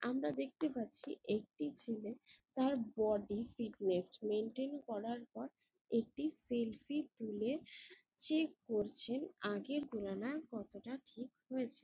আমরা দেখতে পাচ্ছি একটি ছেলে তার বডি ফিটনেস মেন্টেন করার পর একটি সেলফি তুলে চেক করছে আগের তুলনায় কতটা ঠিক হয়েছে।